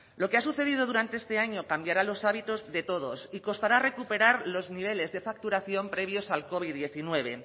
lo que ha sucedido durante este año cambiará los hábitos de todos y costará recuperar los niveles de facturación previos al covid hemeretzi